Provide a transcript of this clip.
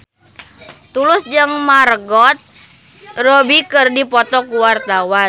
Tulus jeung Margot Robbie keur dipoto ku wartawan